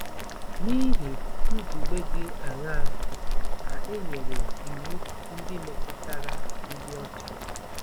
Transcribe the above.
N'ihi nzube dị aṅaa ka e nyere iwu ndị metụtara ịdị ọcha?